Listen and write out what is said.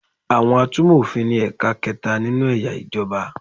Àwọn atúmọ̀ òfin ni ẹ̀ka kẹta nínú eya ìjọba